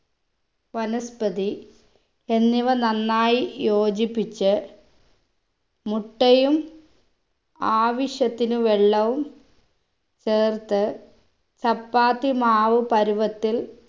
വനസ്പതി എന്നിവ നന്നായി യോജിപ്പിച്ച് മുട്ടയും ആവശ്യത്തിന് വെള്ളവും ചേർത്ത് ചപ്പാത്തി മാവ് പരുവത്തിൽ